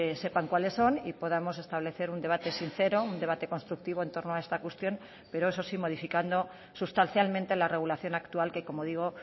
sepan cuáles son y podamos establecer un debate sincero un debate constructivo en torno a esta cuestión pero eso sí modificando sustancialmente la regulación actual que como digo